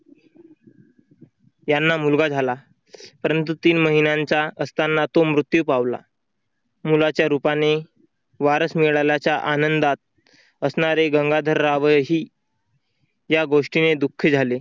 यांना मुलगा झाला, परंतु तीन महिन्यांचा असताना तो मृत्यू पावला. मुलाच्या रूपाने वारस मिळाल्याच्या आनंदात असणारे गंगाधररावही या गोष्टीने दुःखी झाले.